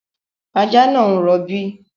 Ajá náà ń rọ̀bí